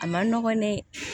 A man nɔgɔn dɛ